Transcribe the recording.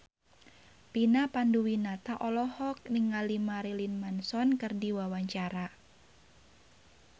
Vina Panduwinata olohok ningali Marilyn Manson keur diwawancara